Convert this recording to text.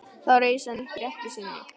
Þá reis hann upp í rekkju sinni.